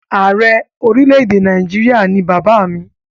Ààrẹ orílẹ̀-èdè Nàìjíríà ni bàbá mi.